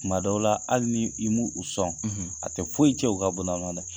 Tuma dɔw la hali ni i m'u sɔn a tɛ foyi cɛn u ka